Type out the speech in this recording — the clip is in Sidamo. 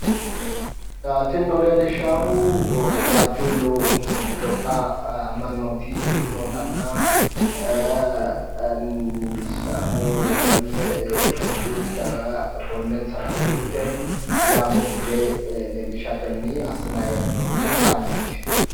Tinino leellishaahu waajjuullu gobba mannooti nootanna sidaamu woyimmi itiopiyu daga gonnensara uurrite sidaamu bude leellishatenni assinayi hee'noonni towanyooti